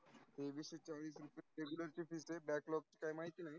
तेवीस शे चालीस रुपया Regular fee आहे, baklog महिती नाही.